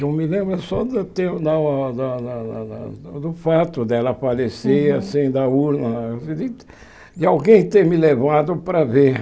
Eu me lembro só de ter lá o lá lá lá do fato dela falecer, assim da urna, de alguém ter me levado para ver.